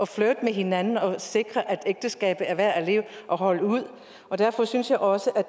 flirte med hinanden og sikre at ægteskabet er værd at holde ud derfor synes jeg også at